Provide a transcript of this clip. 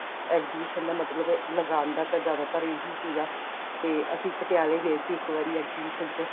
exhibition ਦਾ ਮਤਲਬ ਏ ਲਗਾਣ ਦਾ ਤਾਂ ਜਿਆਦਾਤਰ ਇਹੀ ਸੀਗਾ ਤੇ ਅਸੀਂ ਪਟਿਆਲੇ ਗਏ ਸੀ ਇੱਕ ਵਾਰੀ exhibition ਚ